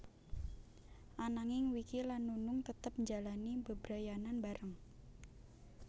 Ananging Wiki lan Nunung tetep njalani bebrayanan bareng